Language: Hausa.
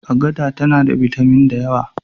Agada tana da bitamin da yawa.